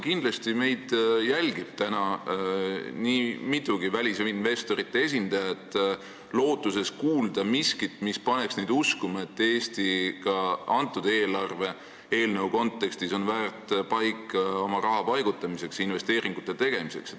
Kindlasti meid jälgib õige mitu välisinvestorite esindajat, lootuses kuulda miskit, mis paneks neid uskuma, et Eesti on ka selle eelarve eelnõu kontekstis väärt paik oma raha paigutamiseks, investeeringute tegemiseks.